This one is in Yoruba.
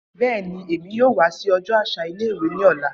Bẹẹni, Emi yoo wa si ọjọ aṣa ile-iwe ni ọla.